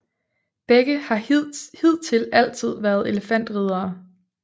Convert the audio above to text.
Begge har hidtil altid været elefantriddere